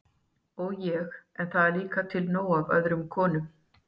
sagði ég, en það er líka til nóg af öðrum konum